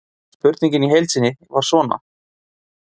Spurningin í heild sinni var svona: